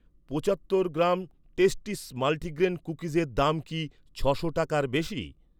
পঁচাত্তর gram Tasties multigrain কুকিজের দাম কি ছ'শো টাকার বেশি?